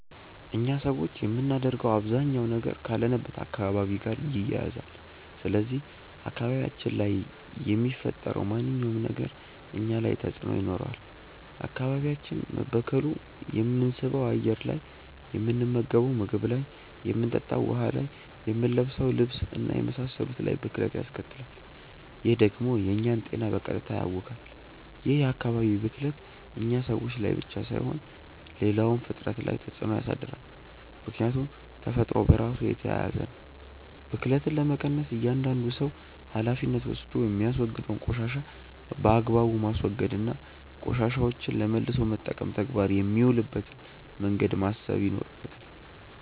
እኛ ሰዎች የምናደርገው አባዛኛው ነገር ካለንበት አካባቢ ጋር ይያያዛል። ስለዚህ አካባቢያችን ላይ የሚፈጠረው ማንኛውም ነገር እኛ ላይ ተጽእኖ ይኖረዋል። አካባቢያችን መበከሉ የምንስበው አየር ላይ፣ የምንመገንው ምግብ ላይ፣ የምንጠጣው ውሀ ላይ፣ የምንለብሰው ልብስ እና የመሳሰሉት ላይ ብክለት ያስከትላል። ይህ ደግሞ የእኛን ጤና በቀጥታ ያውካል። ይህ የአካባቢ ብክለት እኛ ሰዎች ላይ ብቻ ሳይሆን ሌላውም ፍጥረት ላይ ተፅእኖ ያሳድራል። ምክያቱም ተፈጥሮ በራሱ የተያያዘ ነው። ብክለትን ለመቀነስ እያዳንዱ ሰው ሀላፊነት ወስዶ የሚያወግደውን ቆሻሻ በአግባቡ ማስወገድ እና ቆሻሻዎችን ለመልሶ መጠቀም ተግባር የሚውልበትን መንገድ ማሰብ ይኖርበታል።